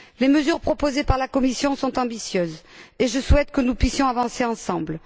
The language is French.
Les mesures proposées par la Commission sont ambitieuses et je souhaite que nous puissions avancer ensemble.